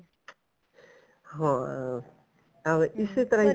ਹਾਂ ਹਾਂ ਵੀ ਇਸੇ ਤਰ੍ਹਾਂ ਈ